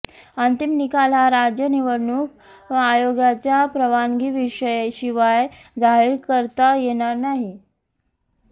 अंतिम निकाल हा राज्य निवडणूक आयोगाच्या परवानगीशिवाय जाहीर करता येणार नाही